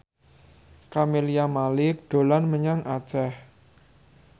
Camelia Malik dolan menyang Aceh